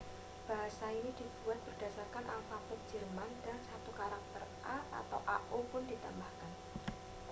"bahasa ini dibuat berdasarkan alfabet jerman dan satu karakter ã•/ãµ pun ditambahkan.